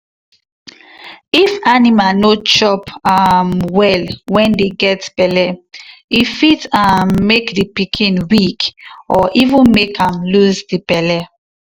if animal no chop um well when dey get belle e fit um make the pikin weak or even make am lose the belle.